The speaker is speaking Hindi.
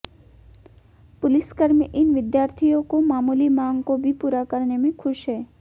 पुलिसकर्मी इन विद्यार्थियों को मामूली मांग को भी पूरा करने में खुश हैं